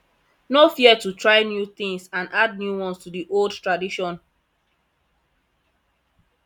no fear to try new things and add new ones to the old tradition